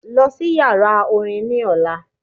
Lọ sí yàrá orin ni ọ̀la.